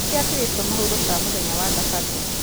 Nĩkĩo akristo mahurũkaga mũthenya wa thabatũ